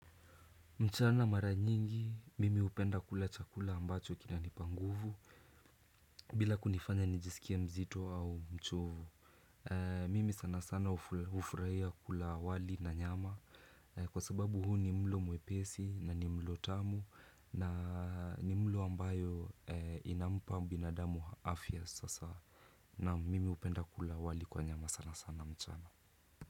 Mchana mara nyingi mimi hupenda kula chakula ambacho kinanipa nguvu. Bila kunifanya nijisikie mzito au mchovu. Mimi sana sana hufurahia kula wali na nyama. Kwa sababu huu ni mlo mwepesi na ni mlo tamu na ni mlo ambayo inampa binadamu afya sasa. Naam mimi hupenda kula wali kwa nyama sana sana mchana.